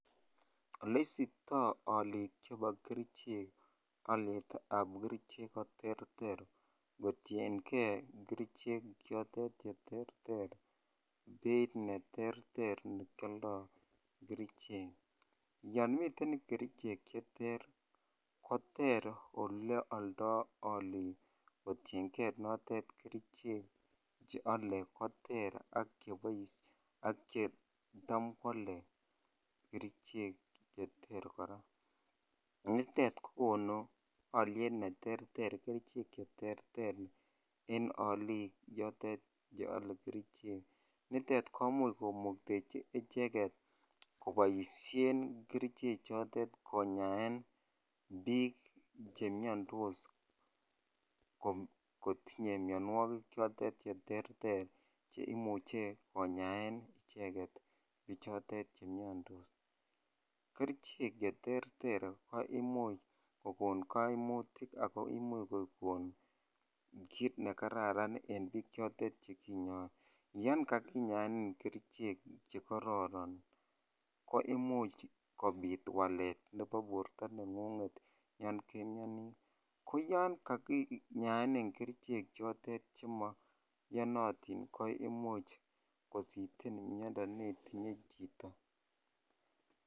Oleisipto olik chebo kerichek olietak kerichek koterter kotiyengee kerichek chotet cheterter beit neterter nekioldo kerichek, yon miten kerichek cheter koter ole oldo olik kotiyengee notet kerichek cheole koter ak chebo ak chetam kwole kerichek cheter koraa nitet kokonu oliet neter kerichek cheter en olik yotet yeole kerichek. Nitet komuch komuktechi icheket koboishen kerichek chotet ko yaen bik chemiondos ko kotinye mionwokik chotet cheterter cheimuche konyaen icheket bichotet chemiondos. Kerichek cheterter ko imuch kokon koimutik ako imuch kokon kit nekararan en bichotet chekinyor, yon kakinyaeni kerichek chekororon ko imuch kobit walet nebo borto nenlngunget yon nemioni, ko yon kakinyaeni kerichek chotet chemoiyonotit ko imuch kositen miondo netinye chito.